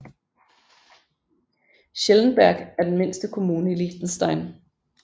Schellenberg er den mindste kommune i Liechtenstein